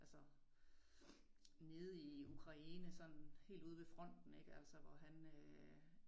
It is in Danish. Altså nede i Ukraine sådan helt ude ved fronten ik altså hvor han øh